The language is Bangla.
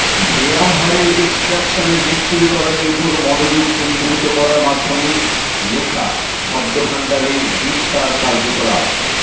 ব্যায়াম হাড়ের এক্সট্রাকশনে বিস্তৃতকরণের উপর মনোযোগ কেন্দ্রীভূত করার মাধ্যমে লেখা শব্দভাণ্ডারের বিস্তার কার্যকলাপ